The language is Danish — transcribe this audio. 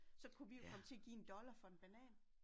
Så kunne vi jo komme til at give 1 dollar for en banan